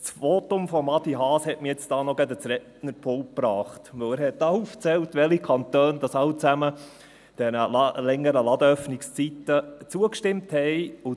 Denn er hat hier aufgezählt, welche Kantone alle den längeren Ladenöffnungszeiten zugestimmt haben.